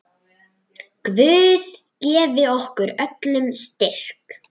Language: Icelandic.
Guð gefi okkur öllum styrk.